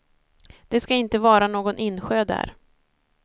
Det ska inte vara någon insjö där.